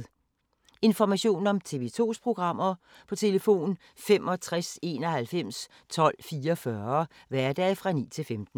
Information om TV 2's programmer: 65 91 12 44, hverdage 9-15.